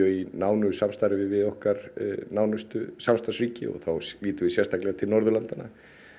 í nánu samstarfi við okkar nánustu samstarfsríki þá lítum við sérstaklega til Norðurlandanna